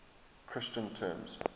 christian terms